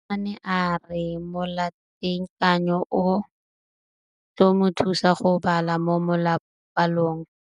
Mosimane a re molatekanyô o tla mo thusa go bala mo molapalong.